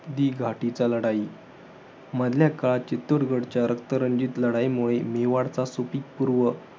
दिघाटीचा लढाई. मधल्या काळात चित्तूरच्या रक्ततंजीत लाधैमुळे मेवाडचा सुपीक पूर्व